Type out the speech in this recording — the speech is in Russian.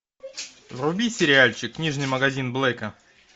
вруби сериальчик книжный магазин блэка